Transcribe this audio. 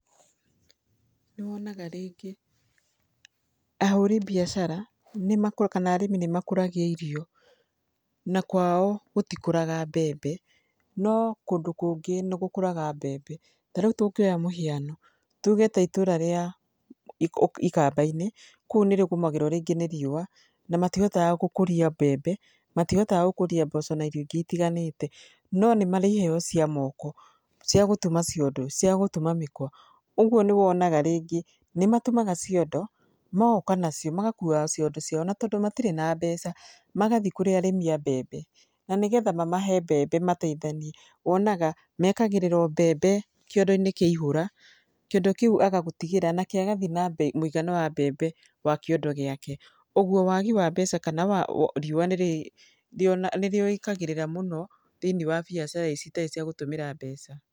Nĩ wonaga rĩngĩ, ahũri mbiacara kana arĩmi nĩ makũragia irio na kwao gũtikũraga mbembe, no kũndũ kũngĩ nĩ gũkũraga mbembe. Ta rĩu tũngĩoa mũhiano tuge ta itũra rĩa ikamba-inĩ, kũu nĩrĩgũmagĩrwo rĩngĩ nĩ riũa na matihotaga gũkũria mbembe, matihotaga gũkũria mboco na irio ingĩ itiganĩte no nĩ marĩ iheo cia moko cia gũtuma ciondo, cia gũtuma mĩkwa. Ũguo nĩ wonaga rĩngĩ nĩ matuga ciondo magoka nacio, magakuaga cindo ciao tondũ matirĩ na mbeca, magathiĩ kũrĩ arĩmi a mbembe na nĩ getha mamahe mbembe mateithanie, wonaga mekagĩrĩrwo mbembe kĩondo-inĩ kĩaihũra, kĩondo kĩu agagũtigĩra nake agathiĩ na mũigana wa mbembe wa kĩondo gĩake. Ũguo wagi wa mbeca kana riũa nĩ rĩũĩkagĩrĩra mũno thĩiniĩ wa mbiacara ici citarĩ cia gũtũmĩra mbeca.